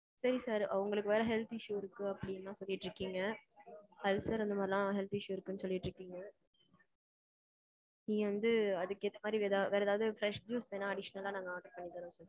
சரி sir. உங்களுக்கு வேற health issue இருக்கு அப்பிடீன்னு சொல்லிட்டுருக்கீங்க. ulcer அது மாறி எல்லாம் health issue இருக்குன்னு சொல்லிட்டுருக்கீங்க. நீங்க வந்து அதுக்கு ஏத்த மாதிரி வேற ஏதாவது fresh juice வேணா நாங்க aditional அ order பண்ணி தரவா